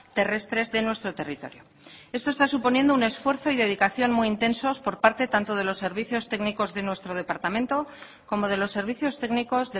terrestres de nuestro territorio esto está suponiendo un esfuerzo y dedicación muy intensos por parte tanto de los servicios técnicos de nuestro departamento como de los servicios técnicos